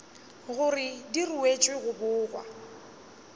gore di ruetšwe go bogwa